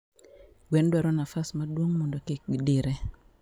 Gwen dwaro nafas maduong mondo kikgidire